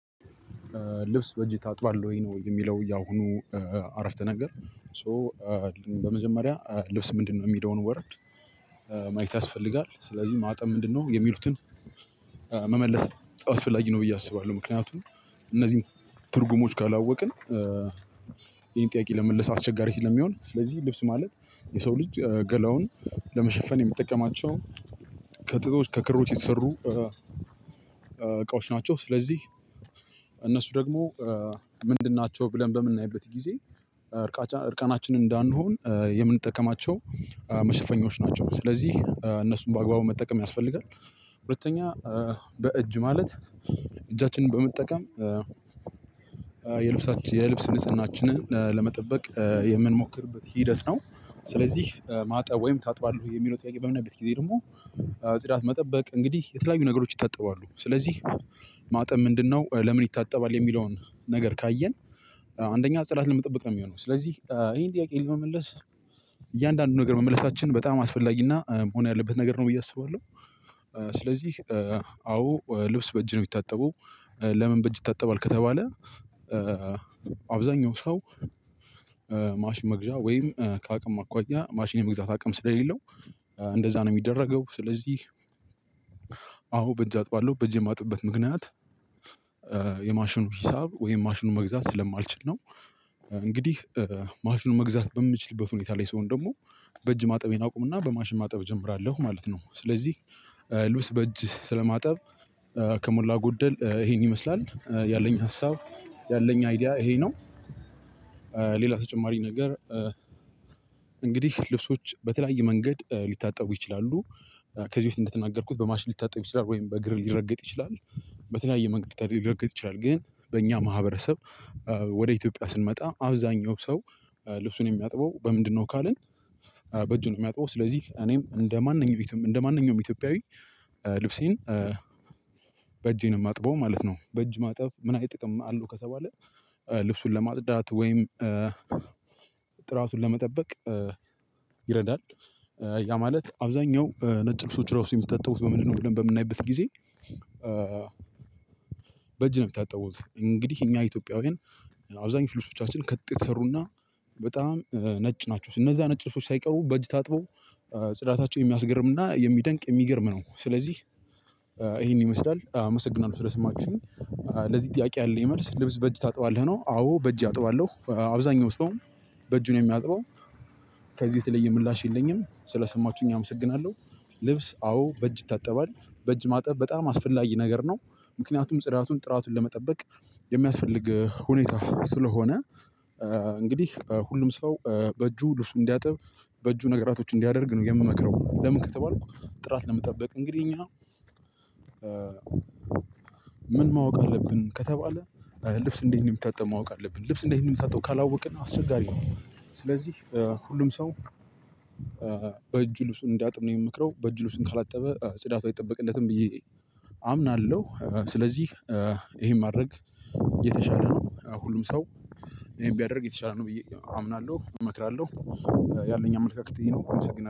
ልብስ በእጅ ታጥባለህ ወይ? ነው የሚለው ያሁኑ አረፍተ ነገር ሶ በመጀመሪያ ልብስ ምንድነው? የሚለውን ወረድ ማየት ያስፈልጋል። ስለዚህ ማጠብ ምንድነው የሚሉትን መመለስ አስፈላጊ ነው፣ ብዬ አስባለሁ። ምክንያቱም እነዚህን ትርጉሞች ካላወቅን ይሄን ጥያቄ ለመመልስ አስቸጋሪ ስለሚሆንስለዚህ ልብስ ማለት የሰው ልጅ ገላውን ለመሸፈን የሚጠቀማቸው ከጥጦች ከክሮች የተሰሩ እቃዎች ናቸው። ስለዚህ እነሱ ደግሞ ምንድን ናቸው ብለን በምናይበት ጊዜ ዕርቀነችን እንደንሆን የምንጠቀማቸው መሸፈኞች ናቸው። ስለዚህ እነሱን በአግባቡ መጠቀም ያስፈልገናል። ሁለተኛ በእጅ ማለት እጃችንን በመጠቀም የልብሳችን የልብስ ንጽህናችንን ለመጠበቅ የምንሞክርበት ሂደት ነው። መመለስ አስፈላጊ ነው፣ ብዬ አስባለሁ። ምክንያቱም እነዚህን ትርጉሞች ካላወቅን ይሄን ጥያቄ ለመመልስ አስቸጋሪ ስለሚሆንስለዚህ ልብስ ማለት የሰው ልጅ ገላውን ለመሸፈን የሚጠቀማቸው ማጠብ ምንድነው ለምን ይታጠባል የሚለውን ነገር ካየን አንደኛ ጽዳት ለመጠበቅ ነው። ስለዚህ ይሄን ጥያቄ ለመመለስ እያንዳንዱን ነገር መመለሳችን በጣም አስፈላጊና መሆን ያለበት ነገር ነው ብዬ አስባለሁ። ስለዚህ አዎ ልብስ በእጅ ነ፣ የሚታጠበው። ለምን በእጅ ይታጠባል ከተባለ አብዛኛው ሰው ማሽን መግዣ ወይም ከአቅም አኳያ ማሽን የመግዛት አቅም ስለሌለው እንደዛ ነው የሚደረገው። ስለዚህ አዎ በእጅ አጥባለሁ። በእጅ የማጥበት ምክንያት የማሽኑ ሂሳብ ወይም ማሽኑ መግዛት ስለማልችል ነው። እንግዲህ ማሽኑ መግዛት በምችልበት ሁኔታ ላይ ሰሆን ደግሞ በእጅ ማጠቤን አቁምና በማሽን ማጠብ እጀምራለሁ ማለት ነው። ስለዚህ ልብስ በእጅ ስለማጠብ ከሞላ ጎደል ይሄን ይመስላ፣ ያለኝ ሀሳብ፣ ያለኝ አይዲያ ይሄ ነው። ሌላ ተጨማሪ ነገር እንግዲህ ልብሶች በተለያየ መንገድ ሊታጠቡ ይችላሉ። ከዚህ በፊት እንደተናገርኩት በማሽን ልትታጠብ ይችላል ወይም በእግርም ሊረገጥ ይችላል። በተለያየ መንገድ ሊረገጥ ይችላል። ግን በእኛ ማህበረሰብ ወደ ኢትዮጵያ ስንመጣ አብዛኛው ሰው ልብሱን የሚያጥበው በምንድነው ካልን በእጁ ነው፣ የሚያጥበው። ስለዚህ እኔም እንደማንኛውም ኢትዮጵያዊ ልብሴን በእጄ ነው የማጥበው ማለት ነው። በእጅ ማጠብ ምን ጥቅም አለ ከተባለ ልብሱን ለማጥዳት ወይም ጥራቱን ለመጠበቅ ይረዳ። ያ ማለት አብዛኛው ነጭ ልብሶች ራሱ የሚታጠቡት በምንድነው ብለን በምናይበት ጊዜ በእጅ ነው የምታጠቡት። እንግዲህ እኛ ኢትዮጵያውያን አብዛኛው ልብሶቻችን ከጥጥ የተሰሩና በጣም ነጭ ናቸው። እነዛ ነጭ ሱፎች ሳይቀሩ በጅ ታጥበው ጽዳታቸው የሚያስገርም እና የሚያስደንቅ የሚገርም ነው። ስለዚህ ይሄን ይመስላል። አመሰግናለሁ ስለሰማችሁኝ። ለዚህ ጥያቄ ያለኝ መልስ ልብስ በእጅ ታጥባለህ ነው አዎ በእጅ አጥባለሁ። አብዛኛው ሰው በእጁ ነው የሚያጥበው። ከዚህ የተለየ ምላሽ የለኝም። ስለሰማችሁኝ አመሰግናለሁ። ልብስ አዎ በእጅ ይታጠባ። በእጅ ማጠብ በጣም አስፈላጊ ነገር ነው። ምክንያቱም ጽዳቱን ጥራቱን ለመጠበቅ የሚያስፈልግ ሁኔታ ስለሆነ እንግዲህ ሁሉም ሰው በእጁ ልብሱ እንዲያጥብ በእጁ ነገራቶች እንዲያደርግ ነው የምመክረው። ለምን ከተባልኩ ጥራት ለመጠበቅ። እንግዲህ እኛ ምን ማወቅ አለብ? ከተባለ ልብስ እንደት እንደምታጠብ ማወቅ አለብን። ልብስ እንደት እንደምታጠብ ከላወቀን አስቸጋሪ ነው። ስለዚህ ሁሉም ነገር በእጁ ልብስ እንድያጥብ ነው የምመክረው። በእጁ ልብስ ከላጠበ ጽደት አይጠበቅለትም ብዬ አምናለሁ። ስለዚህ ይህን ማድረግ የተሻለ ነው። ሁሉም ሰው ይህን ብያደርግ የተሻለ ነው ብዬ አምናለሁ እመክራለሁ። ያለኝ አመለካከት ይሄ ነው። አመሰግናለሁ።